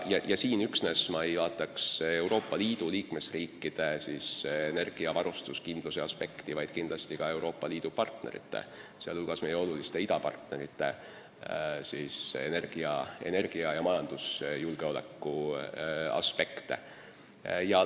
Ja siin ma üksnes ei peaks silmas Euroopa Liidu liikmesriikide energiavarustuskindluse aspekti, vaid ka Euroopa Liidu partnerite, sh meie oluliste idapartnerite energia- ja majandusjulgeoleku aspekte.